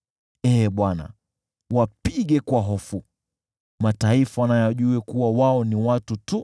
Ee Bwana , wapige kwa hofu, mataifa na yajue kuwa wao ni watu tu.